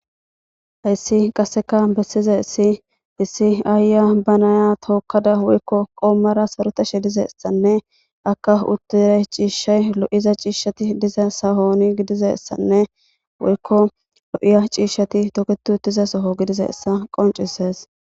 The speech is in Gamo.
hayssi qasseka bessizays issi aayaiya banaya tookkada woykko qoommada sarotashe dizaysanne akka uttiray ciishshay lo;za ciishshati diza sahooni gidizaysanne woykko lo'iya ciishshati toketu utiza soho gidizaysa qoncisees